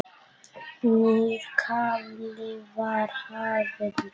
Nýr kafli var hafinn.